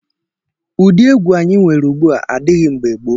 Ụdị egwu anyị nwere ugbu a adịghị mgbe gboo.